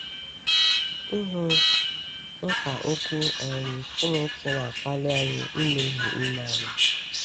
Ịhụ mkpa Okwu um Chineke na-akpali anyị imeghe ime anyị.